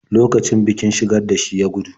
Lokacin bikin-shigar da shi ya gudu.